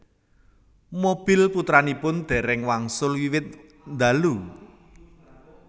Mobil putranipun déréng wangsul wiwit ndalu